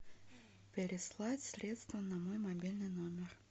переслать средства на мой мобильный номер